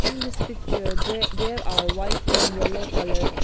In this picture dre there are white and yellow coloured.